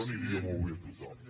li aniria molt bé a tothom